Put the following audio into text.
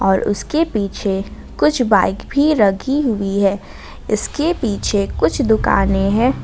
और उसके पीछे कुछ बाइक भी रखी हुई है इसके पीछे कुछ दुकानें हैं।